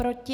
Proti?